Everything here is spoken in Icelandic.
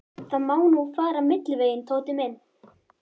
Það má nú fara milliveginn, Tóti minn.